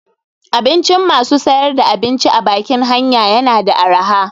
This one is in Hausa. Abincin masu sayar da abinci a bakin hanya yana da araha.